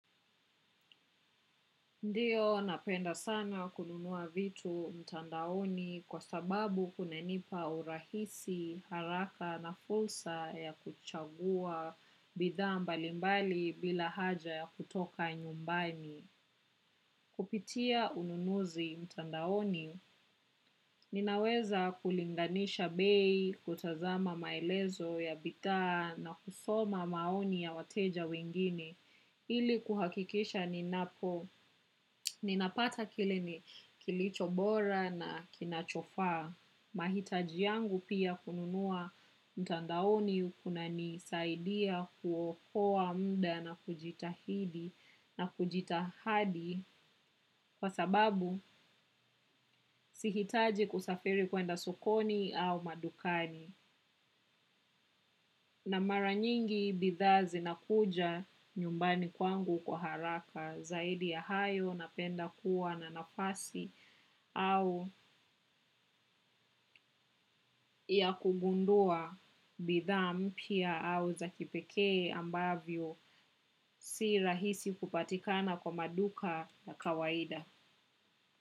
Ndiyo, napenda sana kununua vitu mtandaoni kwa sababu kunanipa urahisi, haraka na fursa ya kuchagua bidhaa mbalimbali bila haja ya kutoka nyumbani. Kupitia ununuzi mtandaoni, ninaweza kulinganisha bei kutazama maelezo ya bidhaa na kusoma maoni ya wateja wengine. Ili kuhakikisha ninapo, ninapata kile ni kilicho bora na kinachofaa. Mahitaji yangu pia kununua mtandaoni kunanisaidia kuokoa muda na kujitahidi na kujitahadi kwa sababu sihitaji kusafiri kwenda sokoni au madukani. Na mara nyingi bidhaa zinakuja nyumbani kwangu kwa haraka zaidi ya hayo napenda kuwa na nafasi au ya kugundua bidhaa mpya au za kipekee ambavyo si rahisi kupatikana kwa maduka na kawaida.